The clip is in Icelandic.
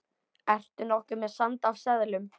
Ertu nokkuð með sand af seðlum.